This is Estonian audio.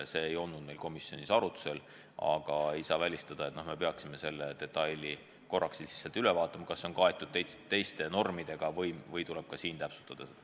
See ei olnud meil komisjonis arutusel, aga vahest me peaksime selle detaili korraks üle vaatama, kas see on kaetud teiste normidega või tuleb ka seda täpsustada.